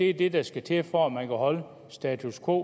er det der skal til for at man kan holde status quo